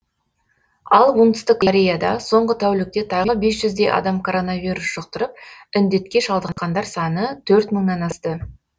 ал оңтүстік кореяда соңғы тәулікте тағы бес жүздей адам коронавирус жұқтырып індетке шалдыққандар саны төрт мыңнан асты